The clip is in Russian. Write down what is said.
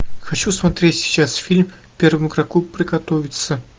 хочу смотреть сейчас фильм первому игроку приготовиться